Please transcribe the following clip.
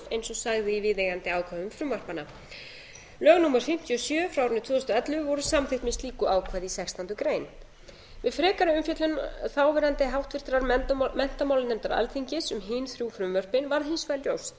eins og sagði í viðeigandi ákvæðum frumvarpanna lög númer fimmtíu og sjö tvö þúsund og ellefu voru samþykkt með slíku ákvæði í sextándu grein við frekari umfjöllun þáverandi háttvirtur menntamálanefndar alþingis um hin þrjú frumvörpin varð hins vegar ljóst að